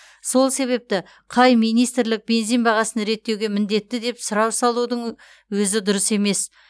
сол себепті қай министрлік бензин бағасын реттеуге міндетті деп сұрау салудың ө өзі дұрыс емес